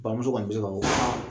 Bamuso kɔni bɛ se k'a fɔ